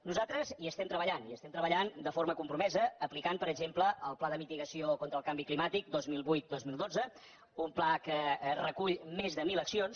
nosaltres hi estem treballant hi estem treballant de forma compromesa aplicant per exemple el pla de mitigació contra el canvi climàtic dos mil vuit dos mil dotze un pla que recull més de mil accions